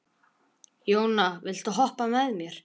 Jóna, viltu hoppa með mér?